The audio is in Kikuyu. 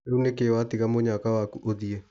Rĩu nĩkĩ watiga mũnyaka waku ũthiĩ.